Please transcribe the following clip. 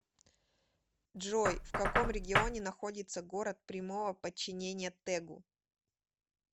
джой в каком регионе находится город прямого подчинения тэгу